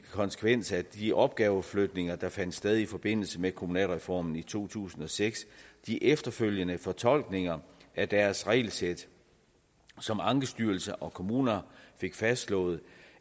konsekvens af de opgaveflytninger der fandt sted i forbindelse med kommunalreformen i to tusind og seks de efterfølgende fortolkninger af deres regelsæt som ankestyrelsen og kommuner fik fastslået